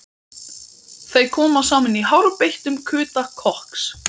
Þeir koma saman í hárbeittum kuta kokks